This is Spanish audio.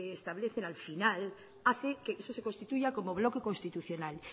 establecen al final hace que eso se constituya como bloque constitucional